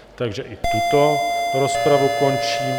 Takže i tuto rozpravu končím.